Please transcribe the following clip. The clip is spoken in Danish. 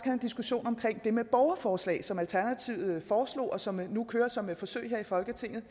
en diskussion om det med borgerforslag som alternativet foreslog og som nu kører som et forsøg her i folketinget